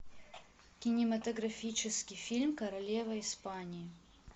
кинематографический фильм королева испании